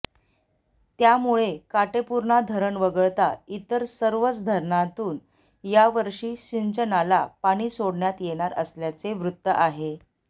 त्यामुळे काटेपूर्णा धरण वगळता इतर सर्वच धरणांतून यावर्षी सिंचनाला पाणी सोडण्यात येणार असल्याचे वृत्त आहे